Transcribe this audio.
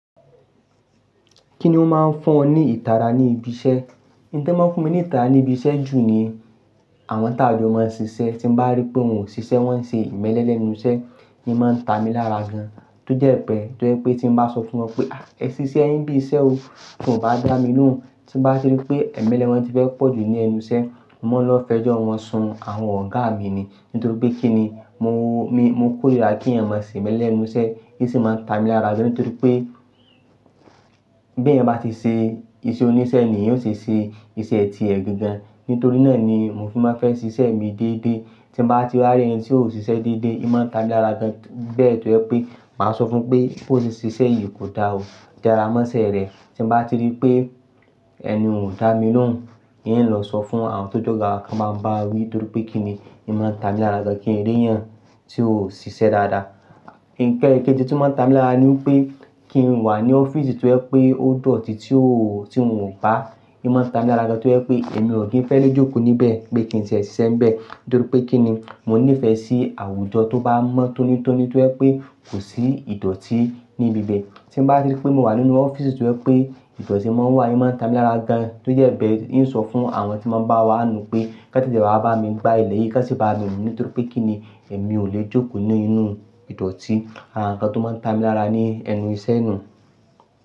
Kí ni ó máa ń fún ọ ní ìtara ní ibi iṣẹ́? Ohun tí ń mọ́ fún mi ní ìtara ní ibi iṣẹ́ jù ni àwọn tàn jọ máa ń ṣiṣẹ́ tí bá rí pé wọn ò ṣiṣẹ́, wọ́n ń ṣe ìmẹ́lẹ́ lẹ́nu iṣẹ́ ni máa ń ta mi lára gan. Tó jẹ́ pé, tó jẹ́ pé tí mo bá sọ fún wọn pé, "à ẹ ṣiṣẹ́ yin bi iṣẹ́ o." Kò bá dá mi lóhùn. Tí mo bá rí pé ìmẹ́lẹ́ wọn ti fẹ́ pọ̀ jù ní ẹnu iṣẹ́, mo máa ń lọ fẹjọ́ wọn sun àwọn ọ̀gá mi ni. Nítorí pé kí ni mo, mi, mo kórìíra kí iyan má ṣe ìmẹ́lẹ́ ẹnu iṣẹ́. Èyí sì máa ń ta mi lára gan nítorí pé bí eyan bá ṣe iṣẹ́ oníṣẹ́ ni ènìyàn ò ṣe ṣe iṣẹ́ ti ẹ̀ gangan. Nítorí náà ni mo fi máa ń fẹ́ ṣiṣẹ́ mi dédé. Tí mo bá ti rí ẹ̀yin tí ò ṣiṣẹ́ dédé, ìm máa ń ta mí lára gan bẹ́ẹ̀ tó jẹ́ pé màá sọ fún pé, "kò ṣe ṣiṣẹ́ yìí kò da o. Jẹ́ ẹ ra mọ́ṣẹ́ rẹ." Tí mo bá rí pé ẹni ò dá mi lóhùn, ìm ń lọ sọ fún àwọn tó jọ́ga wa kí wọ́n báa bá wí nítorí pé kí ni ìi máa ń ta mi lára gan kí n rí iyan tí ò ṣiṣẹ́ dáadáa. Ǹkéji tí ó máa ń ta mi lára ni wípé kí n wà ní ọ́fíìsì tó jẹ́ pé ó dọ̀tí tí ò, tí n ò bá, ìmi máa ń ta mi lára gan tó jẹ́ pé èmi ò kí ń fẹ́ le jókòó níbẹ̀ pé kí n ṣe iṣẹ́ bẹ́ẹ̀. Nítorí pé kí ni mo nífẹ̀ẹ́ sí àwùjọ tó bá mọ́ tónítóní tó jẹ́ pé kò sí ìdọ̀tí níbi bẹ́ẹ̀. Tí n bá rí pé mo wà nínú ọ́fíìsì tó jẹ́ pé ìdọ̀tí máa ń wà, ìmi máa ń ta mi lára gan tó jẹ́ bẹ́ẹ̀ ìmi ń sọ fún àwọn tí máa ń bá wa nu pé, "kantete wá bá mi gba ilẹ̀ yìí, kán sì bá mi nu." Nítorí pé kí ni èmi ò le jókòó nínú ìdọ̀tí. Àràǹkan tó máa ń ta mi lára ni ẹnu iṣẹ́ ni.